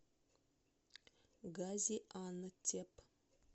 газиантеп